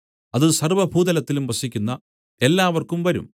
അത് സർവ്വഭൂതലത്തിലും വസിക്കുന്ന എല്ലാവർക്കും വരും